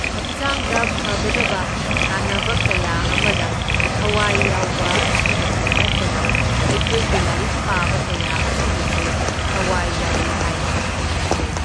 ꯍꯛꯆꯥꯡꯗ ꯐꯒꯗꯕ ꯁꯥꯟꯅꯕ ꯀꯌꯥ ꯑꯃꯗ ꯊꯋꯥꯏ ꯌꯥꯎꯕ ꯑꯁꯤꯗꯁꯨ ꯅꯠꯇꯅ ꯑꯩꯈꯣꯏꯒꯤ ꯂꯥꯏꯔꯤꯛ ꯄꯥꯕ ꯀꯌꯥ ꯑꯁꯤꯗꯁꯨ ꯊꯋꯥꯏ ꯌꯥꯎꯏ ꯍꯥꯏꯅ ꯈꯟꯖꯩ꯫